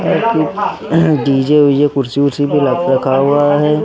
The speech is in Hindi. पे डी_जे वीजे कुर्सी वुर्सी भी रखा हुआ हैं।